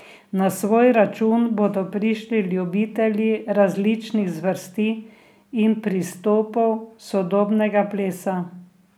Na svoj račun bodo prišli ljubitelji različnih zvrsti in pristopov sodobnega plesa.